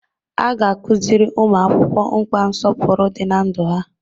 A ga-akụziri ụmụ akwụkwọ mkpa nsọpụrụ dị na ndụ ha.